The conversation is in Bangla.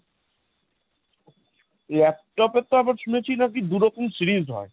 laptop এর তো আবার শুনেছি নাকি দু রকম series হয়।